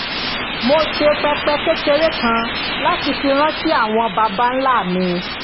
mo ṣe pẹpẹ kékeré kan láti fi rántí àwọn baba ńlá mi